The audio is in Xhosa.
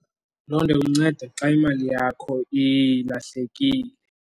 Loo nto ikunceda xa imali yakho ilahlekile.